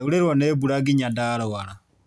Ndaurĩrwo nĩmbura nginya ndarwara.